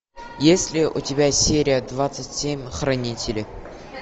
есть ли у тебя серия двадцать семь хранители